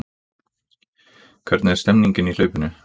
Hvernig er stemningin í hlaupinu?